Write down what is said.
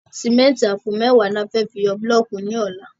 Sìméntì àpò mẹ́ẹ̀wá ni a fẹ́ fi yọ búlọ̀kì ní ọlá